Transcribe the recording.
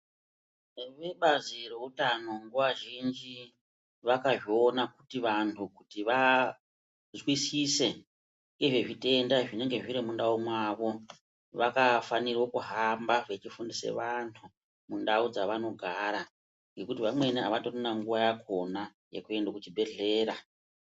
Ine bazi reutano nguwa zhinji vakazviona kuti vantu vazwisise ngezvezvitenda zvinenge zviri muNdau mwawo vakafanirwe kuhamba vechifundise antu mundau dzaanogara ngekuti vamweni avatorina nguwa yakhona yekuende kuchibhedhlera.